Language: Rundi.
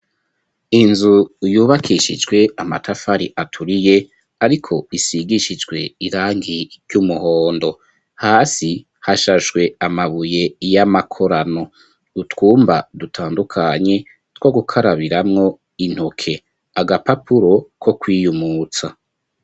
Inzu yubakishijwe amatafari aturiye ariko isigishijwe irangi ry'umuhondo, hasi hashashwe amabuye y'amakorano utwumba dutandukanye two gukarabiramwo intoke agapapuro ko kwiyumutsa.